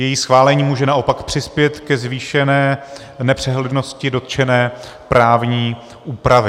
Její schválení může naopak přispět ke zvýšené nepřehlednosti dotčené právní úpravy.